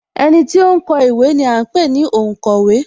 Ẹniti ó ń kọ ìwé ni à ń pè ní onkowe